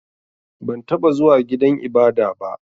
Ban taɓa zuwa gidan ibada ba.